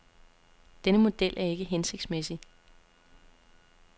Denne model er ikke hensigtsmæssig.